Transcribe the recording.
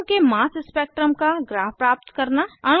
अणु के mass spectrum का ग्राफ प्राप्त करना